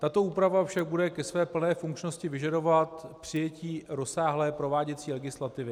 Tato úprava však bude ke své plné funkčnosti vyžadovat přijetí rozsáhlé prováděcí legislativy.